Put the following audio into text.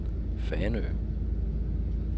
Fanø